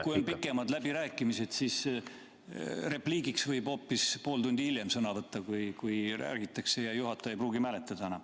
... kui on pikemad läbirääkimised, siis repliigiks võib hoopis pool tundi hiljem sõna võtta, kui räägitakse, ja juhataja ei pruugi mäletada enam.